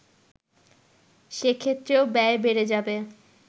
সেক্ষেত্রেও ব্যয় বেড়ে যাবে